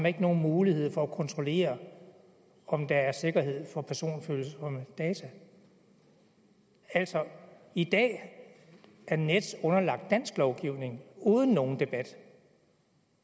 ikke nogen mulighed for at kontrollere om der er sikkerhed for personfølsomme data altså i dag er nets underlagt dansk lovgivning uden nogen debat